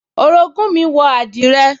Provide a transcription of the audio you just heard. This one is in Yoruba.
Orogún mi wọ àdìrẹ